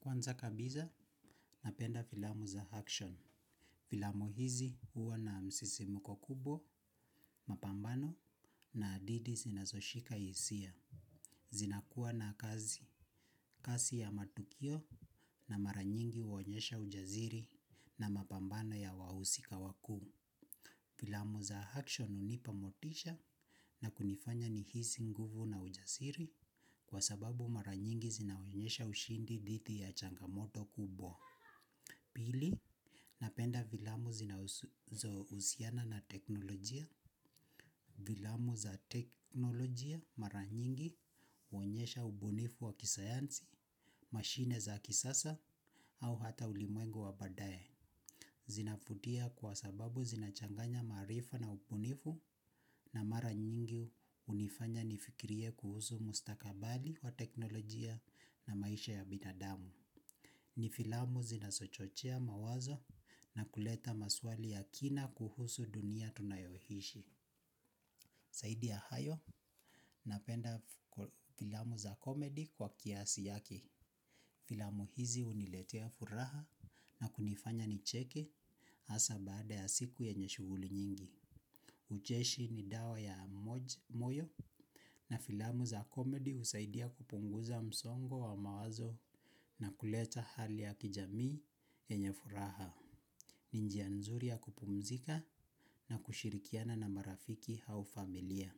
Kwanza kabisa napenda filamu za action. Filamu hizi huwa na msisimko kubwa, mapambano na hadidhi zinazoshika hisia. Zinakuwa na kazi, kasi ya matukio na mara nyingi huonyesha ujasiri na mapambano ya wahusika wakuu. Filamu za action hunipa motisha na kunifanya nihisi nguvu na ujasiri kwa sababu mara nyingi zinaonyesha ushindi dhidi ya changamoto kubwa. Pili, napenda filamu zinazo husiana na teknolojia. Filamu za teknolojia mara nyingi huonyesha ubunifu wa kisayansi, mashine za kisasa, au hata ulimwengu wa baadaye. Zinavutia kwa sababu zinachanganya maarifa na ubunifu na mara nyingi hunifanya nifikirie kuhusu mustakabali wa teknolojia na maisha ya binadamu. Ni filamu zinazo chochea mawazo na kuleta maswali ya kina kuhusu dunia tunayoishi. Zaidi ya hayo napenda filamu za comedy kwa kiasi yake. Filamu hizi huniletea furaha na kunifanya nicheke hasa baada ya siku yenye shughuli nyingi. Ucheshi ni dawa ya moyo na filamu za comedy husaidia kupunguza msongo wa mawazo na kuleta hali ya kijamii yenye furaha. Ni njia nzuri ya kupumzika na kushirikiana na marafiki au familia.